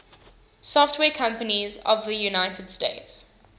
software companies of the united states